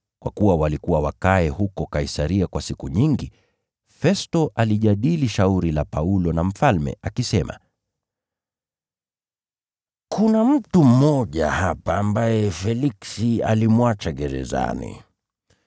Kwa kuwa walikuwa wakae huko Kaisaria kwa siku nyingi, Festo alijadili shauri la Paulo na mfalme, akisema, “Kuna mtu mmoja hapa ambaye Feliksi alimwacha gerezani.